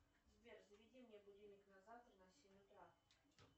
сбер заведи мне будильник на завтра на семь утра